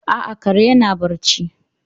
A'a, kare yana barci.